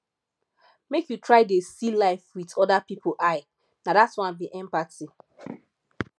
make you try dey see life wit other pipu eye na dat one be empathy